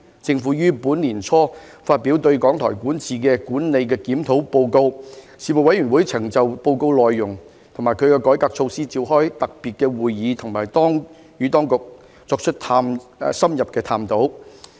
政府於本年年初發表對港台管治的管理檢討報告，事務委員會曾就報告內容及其改革措施召開特別會議，以及與當局作出深入的探討。